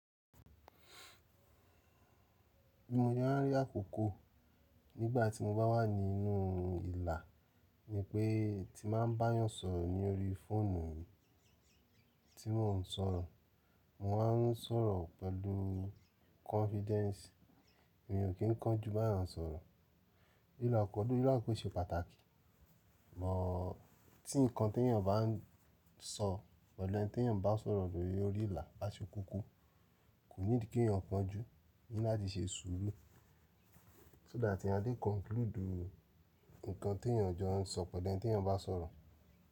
Bí mo ṣe ń rí àkókò nígbà tí mo bá wà nínú ìlà ni pé tí máa ń bá yàn sọ̀rọ̀ ní orí fóònù tí mò ń sọ̀rọ̀, mò wan sọ̀rọ̀ pẹ̀lú confidence, èmi o kí n kánjú bá yàn sọ̀rọ̀. Ìlà pẹ̀lú ìlà kò ṣe pàtàkì, bọ̀ tí nǹkan tí ènìyàn bá ń sọ, pelu ẹni tí ènìyàn bá ń sọ̀rọ̀ lórí ìlà bá ṣe kúkú, kò nídí kí ènìyàn kánjú, eeyan ní láti ṣe sùúrù. So that eeyan a lè conclude nǹkan tí ènìyàn jọ ń sọ, pelu ẹni teèyàn jo ń sọ̀ pelu eni teeyan ba soro.